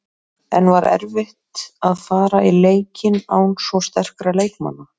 En var erfitt að fara í leikinn án svo sterkra leikmanna?